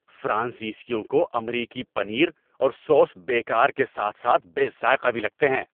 فرانسیسیوں کو امریکی پنیر اور سوس بیکار کے ساتھ ساتھ بے ذائقہ بھی لگتے ہیں۔